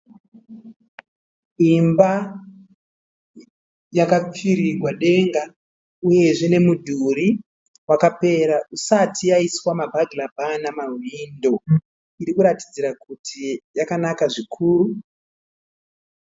Imba yakapfirirwa denga uyezve nemudhuri wakapera isati yaiswa mabagira baa namawindo. Iri kuratidzira kuti yakanaka zvikuru.